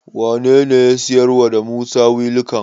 Wanene ya siyarwa da Musa wilikan?